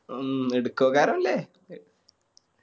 ഉം എടുക്കോക്കാരനല്ലേ